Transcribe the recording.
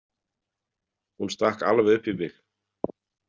Hún stakk alveg upp í mig.